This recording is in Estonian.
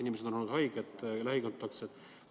Inimesed on olnud haiged või lähikontaktsed.